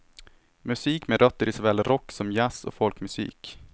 Musik med rötter i såväl rock som jazz och folkmusik.